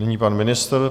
Nyní pan ministr.